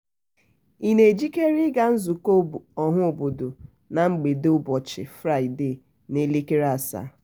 ị na-ejikere ị ga nzukọ ọhaobodo na mgbede ụbọchi fraịdee n'elekere asaa?